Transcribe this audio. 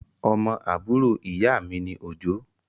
Ọmọ àbúrò ìyámi ni Òjó.